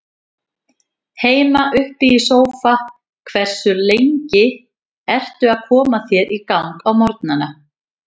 Heima upp í sófa Hversu lengi ertu að koma þér í gang á morgnanna?